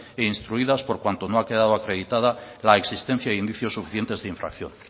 e instruidas por cuanto no ha quedado acreditada la existencia de indicios suficientes de infracción